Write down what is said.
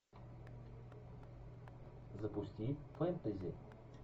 запусти фентези